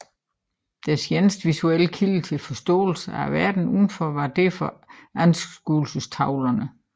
Deres eneste visuelle kilde til forståelse af verden udenfor var derfor anskuelsestavlerne